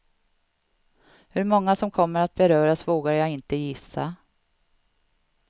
Hur många som kommer att beröras vågar jag inte gissa.